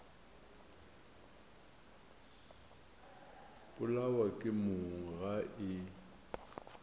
polawa ke mong ga e